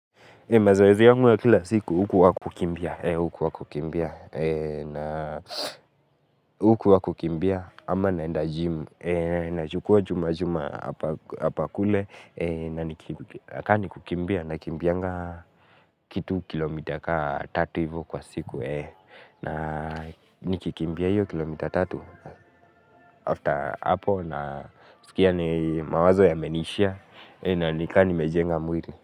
Mazoezi yangu ya kila siku hukuwa kukimbia, hukuwa kukimbia, na hukuwa kukimbia, ama naenda jimu, nachukua chuma chuma hapa kule, na nikini na ni kukimbia, nakimbianga kitu kilomita ka tatu ivo kwa siku na nikikimbia hiyo kilomita tatu, after hapo na sikia ni mawazo ya menishia, na nika nimejenga mwili.